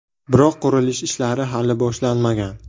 Biroq qurilish ishlari hali boshlanmagan.